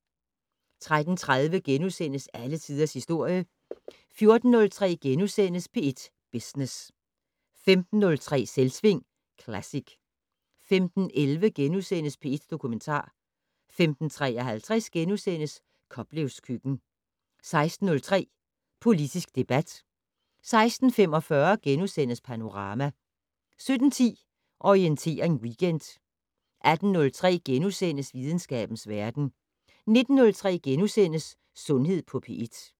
13:30: Alle tiders historie * 14:03: P1 Business * 15:03: Selvsving Classic 15:11: P1 Dokumentar * 15:53: Koplevs køkken * 16:03: Politisk debat 16:45: Panorama * 17:10: Orientering Weekend 18:03: Videnskabens verden * 19:03: Sundhed på P1 *